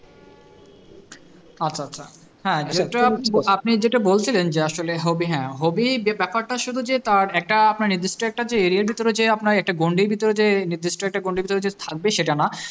আচ্ছা আচ্ছা হ্যাঁ যেটা আপ~ আপনি যেটা বলছিলেন যে আসলে hobby হ্যাঁ hobby যে ব্যাপারটা শুধু যে তার একটা আপনার নির্দিষ্ট একটা যে area এর ভিতরে যে আপনার একটা গন্ডির ভিতরে যে নির্দিষ্ট একটা গন্ডির ভিতরে যে থাকবে সেটা না